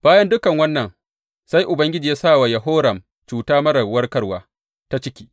Bayan dukan wannan, sai Ubangiji ya sa wa Yehoram cuta marar warkarwa ta ciki.